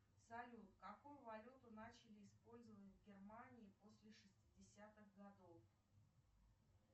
салют какую валюту начали использовать в германии после шестидесятых годов